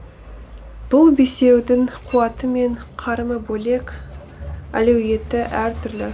бұл бесеудің қуаты мен қарымы бөлек әлеуеті әртүрлі